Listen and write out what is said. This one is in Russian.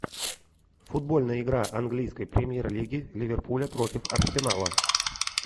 футбольная игра английской премьер лиги ливерпуля против арсенала